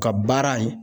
Ka baara ye